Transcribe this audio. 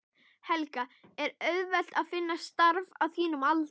Helga: Er auðvelt að finna starf á þínum aldri?